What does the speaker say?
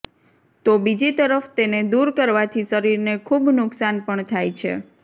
તો બીજી તરફ તેને દૂર કરવાથી શરીરને ખૂબ નુકસાન પણ થાય છે